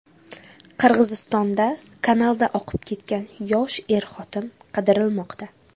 Qirg‘izistonda kanalda oqib ketgan yosh er-xotin qidirilmoqda.